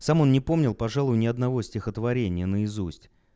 сам он не помнил пожалуй ни одного стихотворения наизусть